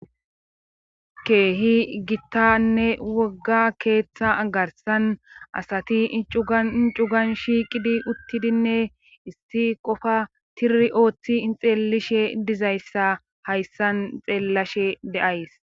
Keehi gittanne wogga keeththa garsan asati icuaincugan shiiqidi uttidinne isti qofa tiri ooththi ixeellishe dizayssa hayssan xeellashe de7ays